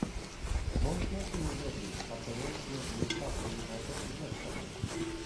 можешь найти мне дерби апл между ньюкасл юнайтед и лестером